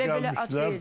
Elə belə at yox idi.